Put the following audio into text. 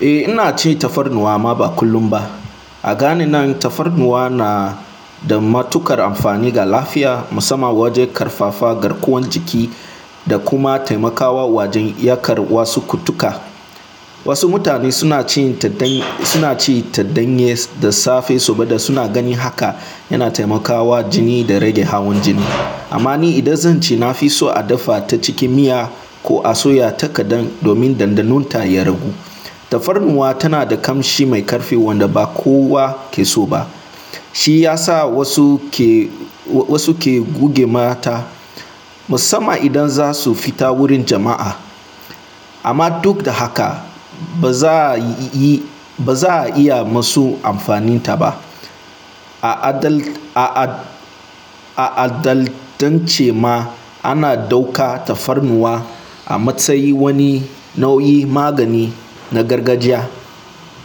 Eh ina ci tafarnuwa amma ba kullum ba. A gani nan tafarnuwa na da matuƙar amfani ga lafiya musamman wajen ƙarfafa garkuwan jiki da kuma taimakawa wajen iyakar wasu kutuka. Wasu mutane suna ci taɗɗanye da safe saboda suna ganin haka yana taimakawa jini da rage hawan jini. Amma ni idan zan ci nafiso a dafa ta cikin miya ko a soya ta kaɗan domin ɗanɗanon ta ya ragu. Tafarnuwa tana da ƙamshi mai ƙarfi wanda ba kowa ke so ba. Shi ya sa wasu ke guge mata musamman idan za su fita wurin jama'a. Amma duk da haka ba za a iya masu amfaninta ba. A'adancan ma ana ɗauka tafarnuwa a matsayin wani nau'in magani na gargajiya